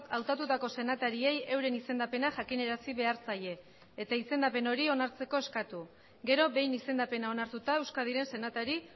hautatutako senatariei euren izendapena jakinarazi behar zaie eta izendapen hori onartzeko eskatu gero behin izendapena onartuta euskadiren senatari